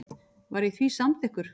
Var ég því samþykkur.